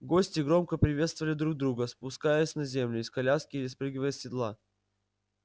гости громко приветствовали друг друга спускаясь на землю из коляски или спрыгивая с седла